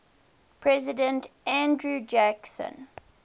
president andrew jackson